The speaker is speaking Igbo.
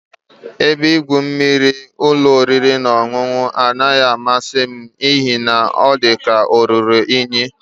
Ebe igwu mmiri ụlọ oriri na ọṅụṅụ anaghị amasị m n'ihi na ọ dị ka o ruru unyi